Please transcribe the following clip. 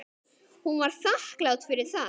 Hún var þakklát fyrir það.